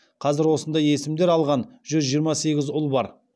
қазір осындай есімдер алған жүз жиырма сегіз ұл бар